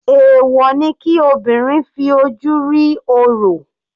Èwọ̀ ni kí obìnrin fi ojú rí orò.